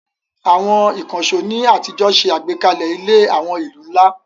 Àwọn ìkànṣó ní àtijọ́ ṣe àgbékalẹ̀ ilẹ̀ àwọn ìlú ńlá.